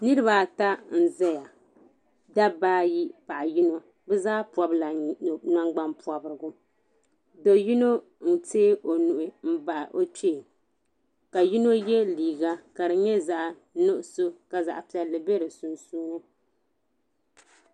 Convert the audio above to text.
niriba ata n-ʒeya dabba ayi paɣa yino bɛ zaa pɔbila nangbuni pɔbirigu do yino n-teei o nuhi m-bahi o kpee ka yino ye liiga ka di nyɛ zaɣ' nuɣisɔ ka zaɣ' piɛlli be di sunsuuni.